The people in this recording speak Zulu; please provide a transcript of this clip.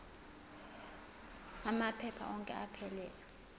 amaphepha onke aphelele